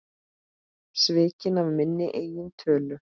Svikinn af minni eigin tölu.